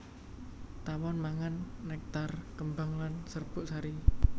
Tawon mangan nektar kembang lan serbuk sari